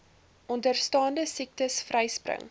onderstaande siektes vryspring